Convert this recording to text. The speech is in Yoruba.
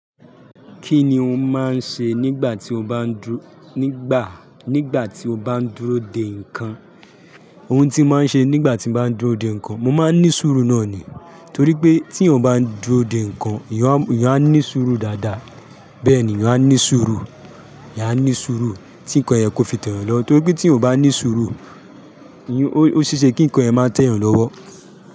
Kí ni ò máa ń ṣe nígbà tí o bá ń dúró, nígbà, nígbà tí o bá ń dúró de nǹkan? Ohun tí mo máa ń ṣe nígbà tí mo bá ń dúró de nǹkan, mo máa ń ní sùúrù náà ni. Nítorí pé tí ènìyàn bá ń dúró de nǹkan, ènìyàn, ènìyàn á ní sùúrù dáadáa. Bẹ́ẹ̀ni, ènìyàn á ní sùúrù, enìyán a ní sùúrù, tí nǹkan yẹn kò fi tẹ́ yan lọwo. Nítorí pé tí ènìyàn o bá ní sùúrù, ó ṣee ṣẹ́ kí ǹkan ẹ má tẹ́ yan lọ́wọ́